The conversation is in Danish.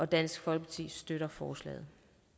dansk folkeparti støtter forslaget